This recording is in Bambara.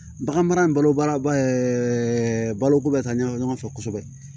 Bagan mara in balo baara baloko bɛ ka ɲa ɲɔgɔn fɛ kosɛbɛ